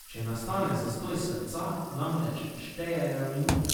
Če nastane zastoj srca, namreč štejejo minute.